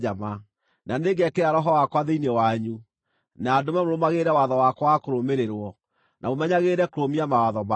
Na nĩngekĩra Roho wakwa thĩinĩ wanyu, na ndũme mũrũmagĩrĩre watho wakwa wa kũrũmĩrĩrwo, na mũmenyagĩrĩre kũrũmia mawatho makwa.